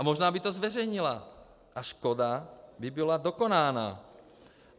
A možná by to zveřejnila a škoda by byla dokonána.